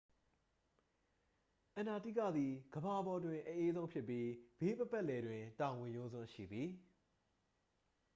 အန္တာတိကသည် ကမ္ဘာပေါ်တွင် အအေးဆုံးဖြစ်ပြီး ဘေးပတ်ပတ်လည်တွင် တောင်ဝင်ရိုးစွန်း ရှိသည်